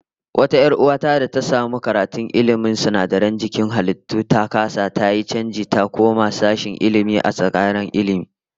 Wata 'yar uwa ta da ta samu karatun ilmin sinadaran jikin halittu, ta kasa yi, tayi chanji ta koma sashen Ilmi a tsangayar Ilmi